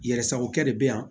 Yɛrɛ sagokɛ de bɛ yan